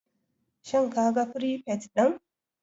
Shin kaga firifet din?